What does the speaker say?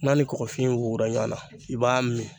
N'a ni kɔkɔfin wugu la ɲɔgɔnna, i b'a min.